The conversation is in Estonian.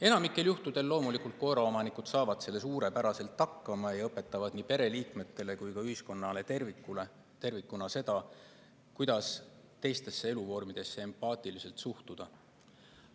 Enamikul juhtudel loomulikult loomaomanikud saavad sellega suurepäraselt hakkama ja õpetavad nii pereliikmetele kui ka ühiskonnale tervikuna, kuidas teistesse eluvormidesse empaatiliselt suhtuda.